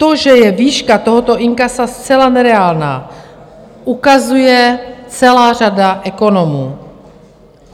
To, že je výška tohoto inkasa zcela nereálná, ukazuje celá řada ekonomů.